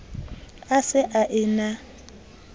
a se a e na